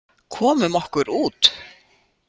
Komum okkur út.